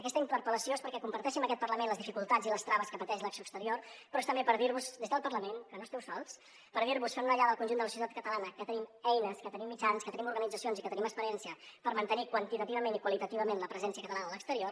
aquesta interpel·lació és perquè comparteixi amb aquest parlament les dificultats i les traves que pateix l’acció exterior però és també per dir vos des del parlament que no esteu sols per dir vos fem una ullada al conjunt de la societat catalana que tenim eines que tenim mitjans que tenim organitzacions i que tenim experiència per mantenir quantitativament i qualitativament la presència catalana a l’exterior